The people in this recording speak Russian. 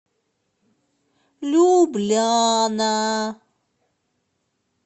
любляна